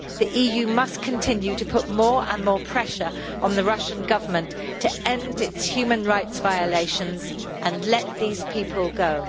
The EU must continue to put more and more pressure on the Russian Government to end its human rights violations and let these people go.